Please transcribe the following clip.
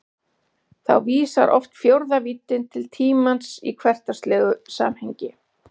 Þá vísar oft fjórða víddin til tímans í hversdagslegu samhengi.